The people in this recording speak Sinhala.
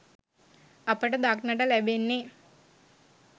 අපට දක්නට ලැබෙන්නේ